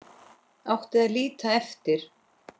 Átti að líta eftir